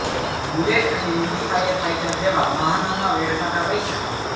bullet અને mini fire fighter જેવા વાહનોમાં વેડફાતા પૈસા